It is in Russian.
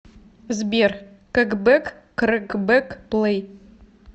сбер кэкбэк крэкбэк плэй